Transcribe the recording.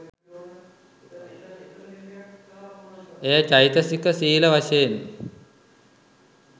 එය චෛතසික සීල වශයෙන්